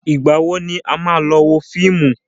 Ìgbà wo ni a máa lọ wo fíìmù?